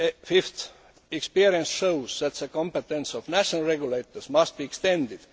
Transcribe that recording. Fifthly, experience shows that the competence of national regulators must be extended.